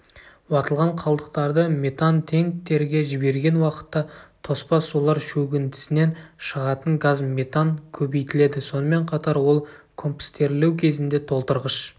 уатылған қалдықтарды метантенктерге жіберген уақытта тоспа сулар шөгіндісінен шығатын газ метан көбейтіледі сонымен қатар ол компостерлеу кезінде толтырғыш